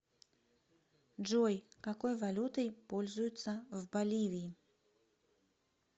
джой какой валютой пользуются в боливии